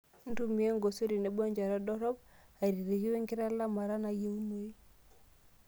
Ntumia engosoi tenebo enchata dorrop airirki wenkitalamata nayieunoi .